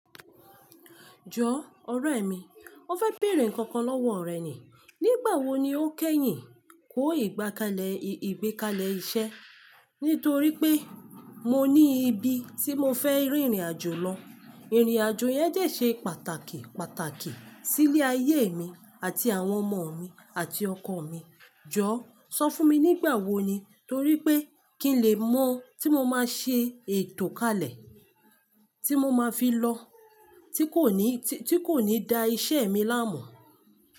Jọ ọ̀rẹ̀ mi, mo fẹ́ bèèrè nǹkan kan lọ́wọ́ rẹ̀ ni. Nígbà wo ni o kẹ́yìn kó ìgbákalẹ̀ ìgbékalẹ̀ iṣẹ́? Nítorí pé mo ní ibi tí mo fẹ́ rìnrìn àjò lọ. Ìrìn àjò yẹn de ṣe pàtàkì pàtàkì sílé ayé mi àti àwọn ọmọ mi àti ọkọ mi. Jọ, sọ fún mi nígbà wo ni, torí pé kí n lè mọ̀ tí mo máa ṣe ètò kalẹ̀ tí mo máa fi lọ tí kò ní, tí kò ní da iṣẹ́ mi láàmọ́.